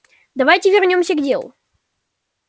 давайте вернёмся к делу